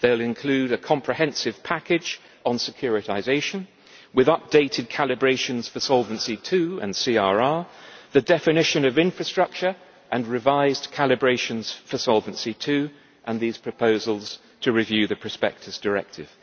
They will include a comprehensive package on securitisation, with updated calibrations for Solvency II and CRR, the definition of infrastructure and revised calibrations for Solvency II, and these proposals to review the Prospectus Directive.